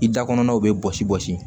I da kɔnna u bɛ bɔsi bɔsi